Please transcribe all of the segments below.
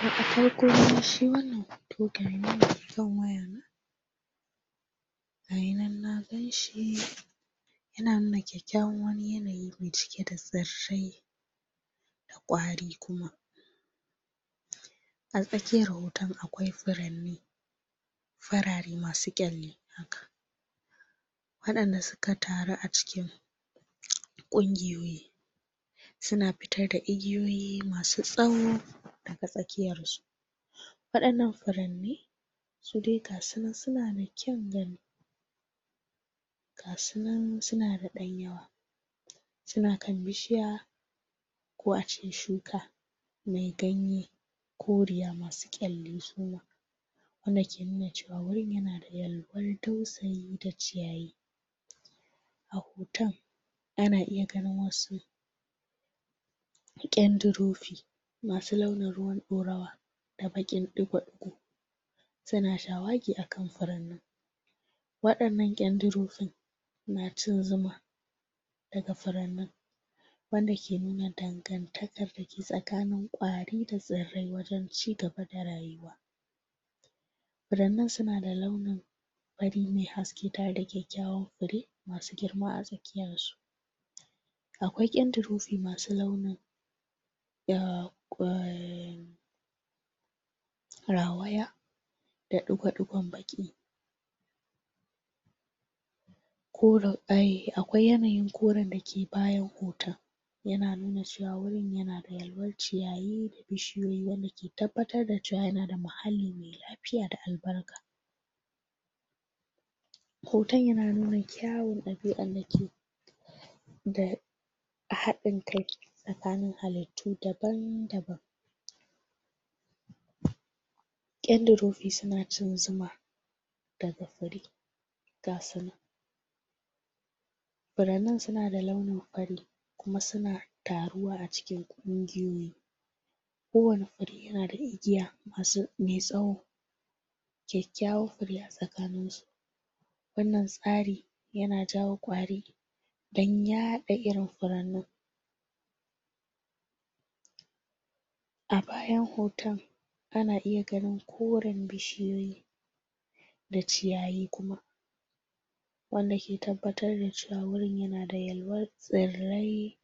Daga farko ma shi wannan hoto gashinan akan wayana??????? gayi nan na ganshi????? yana nuna kyakyawan wani yanayi me cike da tsirrai??????? da kwari kuma???? a tsakiyan wutan akwai furanni????? farare masu kyalli haka wadanda suka taru a cikin????? kungiyoyi?????? suna fitar da igiyoyi masu tsawo???? a tsakiyarsu???? wadannan furanni su dai gasunan suna da kyan gani??????? gasunan suna da dan yawa suna kan bishiya????? ko a cikin shuka me ganye koriya masu kyalli su ma wanda ke nuna cewa wurin yana da yalwar dausayi ta ciyayi?????? a hoton ana iya ganin wasu???????? kyandurofi masu launin ruwan dorawa da baqin digo-digo suna shawagi akan furannin??????? wadannan kyandurofin na cin zuma????? daga furannin wanda ke nuna dangantakar dake tsakanin kwari da tsirrai wajen chigaba da rayuwa furannan suna da launin fari me haske tare da kyakyawan fure masu girma a tsakiyansu akwai kyandurofi masu launin??????????????? rawaya da digo-digon baqi???????? ko raudaye akwai yanayin koren dake bayan hoton yana nuna cewa wurin yana da yakwar ciyayi bishiyoyi wanda ke tabbatar da cewa yana da muhalli me lafiya da albarka hoton yana nuna kyawun dabi'an dake da a hadin kai tsakanin halittu daban daban?????? kyandirofi suna cin zuma daga fure gasunan furannen suna da launin fari kuma suna tarowa a cikin kungiyoyi ko wani fure yana da igiya masu me tsawo kyakyawan fure a tsakaninsu wannan tsari yana jawo kwari dan yada irin furannin?????????? a bayan hoton ana iya ganin koren bishiyoyi da ciyayi kuma?????? wanda ke tabbatar da cewa wurin yana da yalwar tsirrai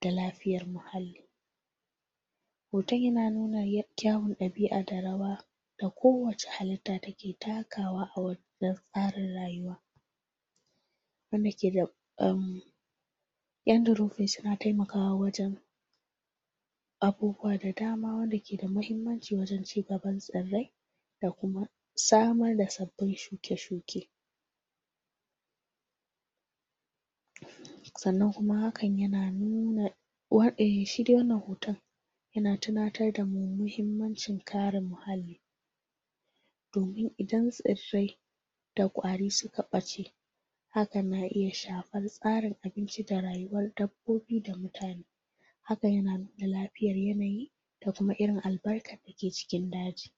da lafiyar muhalli????? hoton yana nuna kyawun dabi'a da rawa da kowacce halitta take takawa a wannan tsarin rayuwa wanda ke da erm.. kyandurofi suna taimakawa wajen?????? abubuwa da dama wanda ke da mahimmanci wajen chigaban tsirrai da kuma samar da sabbin shuke shuke????????????? sannan kuma hakan yana nuna shi dai wannan hoton yana tunatar damu muhimmancin karin muhalli domin idan tsirrai da kwari suka bace hakan na iya shafan tsarin abinci da rayuwar dabbobi da mutane hakan yana nuna lafiyar yanayi da kuma irin albarkan dake cikin daji